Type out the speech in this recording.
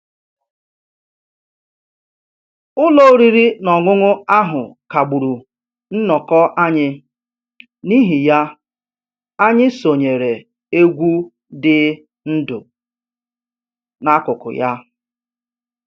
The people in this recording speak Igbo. Ụlọ oriri na ọṅụṅụ ahụ kagburu nnọkọ anyị, n'ihi ya, anyị sonyeere egwu dị ndụ n'akụkụ ya